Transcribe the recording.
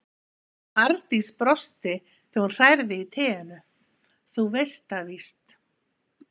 Arndís brosti þegar hún hrærði í teinu: Þú veist það víst.